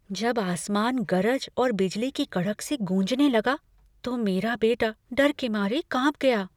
जब आसमान गरज और बिजली की कड़क से गूँजने लगा तो मेरा बेटा डर के मारे कांप गया।